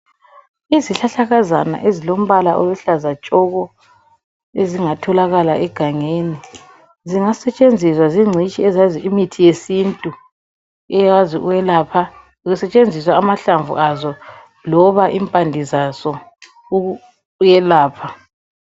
Izihlahla kazana ezilombala oluhlaza tshoko ezingatholakala egangeni zingasentshenziswa zincitshi ezazi imithi yesintu eyazi ukwelapha kusentshenziswa amahlamvu aso noma impande zazo ukwelapha